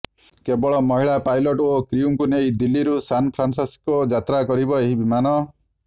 କେବଳ ମହିଳା ପାଇଲଟ ଓ କ୍ରିଉଙ୍କୁ ନେଇ ଦିଲ୍ଲୀରୁ ସାନ୍ ଫ୍ରାନସିସ୍କୋ ଯାତ୍ରା କରିବ ଏହି ବିମାନ